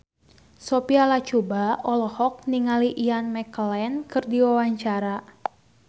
Sophia Latjuba olohok ningali Ian McKellen keur diwawancara